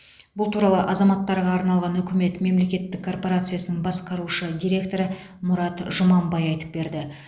бұл туралы азаматтарға арналған үкімет мемлекеттік корпорациясының басқарушы директоры мұрат жұманбай айтып берді